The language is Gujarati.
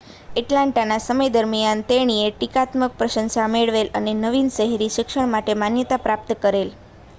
એટલાન્ટાના સમય દરમિયાન તેણીએ ટીકાત્મક પ્રશંસા મેળવેલ અને નવીન શહેરી શિક્ષણ માટે માન્યતા પ્રાપ્ત કરેલ